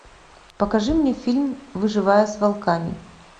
покажи мне фильм выживая с волками